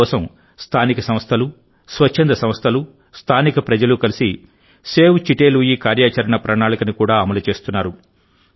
ఇందుకోసం స్థానిక సంస్థలు స్వచ్ఛంద సంస్థలు స్థానిక ప్రజలు కలిసి సేవ్ చిటే లూయి కార్యాచరణ ప్రణాళికను కూడా అమలు చేస్తున్నారు